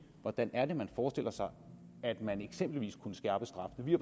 hvordan er det man forestiller sig at man eksempelvis kunne skærpe straffene vi